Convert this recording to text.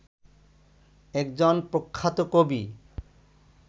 একজন প্রখ্যাত কবি